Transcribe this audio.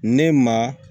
Ne ma